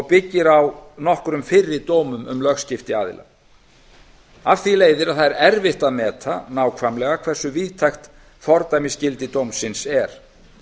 byggir á nokkrum fyrri dómum um lögskipti aðila af því leiðir að það er erfitt að meta nákvæmlega hversu víðtækt fordæmisgildi dómsins er